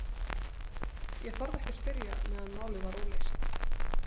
Ég þorði ekki að spyrja meðan málið var óleyst.